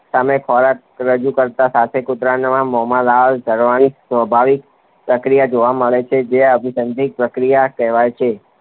સામે ખોરાક રજૂ કરતાની સાથે કૂતરાના મોંમાં લાળ ઝરવાની સ્વાભાવિક પ્રતિક્રિયા જોવા મળે છે જે અનઅભિસંધિત પ્રતિક્રિયા કહેવાય છે.